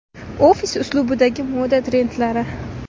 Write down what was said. Ofis uslubidagi moda trendlari.